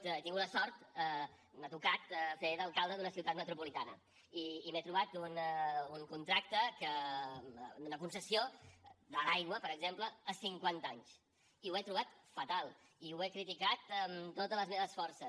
he tingut la sort m’ha tocat fer d’alcalde d’una ciutat metropolitana i m’he trobat un contracte d’una concessió de l’aigua per exemple a cinquanta anys i ho he trobat fatal i ho he criticat amb totes les meves forces